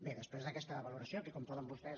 bé després d’aquesta valoració que com poden vostès